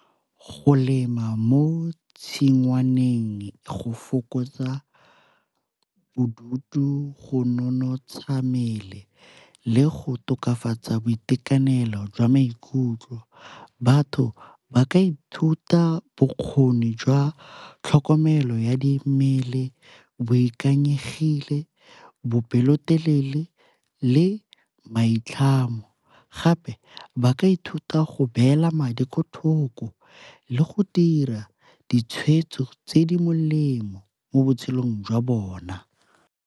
Go lema mo tshingwaneng go fokotsa bodutu, go nonotsha mmele le go tokafatsa boitekanelo jwa maikutlo. Batho ba ka ithuta bokgoni jwa tlhokomelo ya di mmele, boikanyegile, bopelotelele le maitlhamo. Gape ba ka ithuta go beela madi kelothoko le go dira ditshwetso tse di molemo mo botshelong jwa bona.